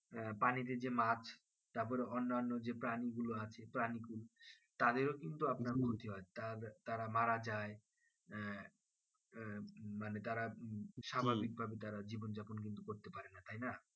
পানিতে যে মাছ তারপর অন্য অন্য যে প্রাণী গুলো আছে তাদেরও কিন্তু আপনার ক্ষতি হয় তারা মারা যাই আহ আহ মানে তারা স্বাভাবিক ভাবে জীবন যাপন করতে পারেনা